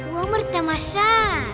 өмір тамаша